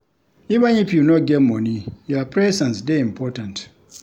Even if you no get moni, your presence dey important.